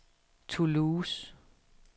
Toulouse